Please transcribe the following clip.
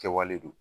Kɛwale don